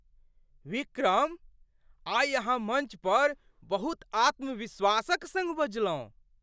विक्रम! आइ अहाँ मञ्च पर बहुत आत्मविश्वासक सङ्ग बजलहुँ।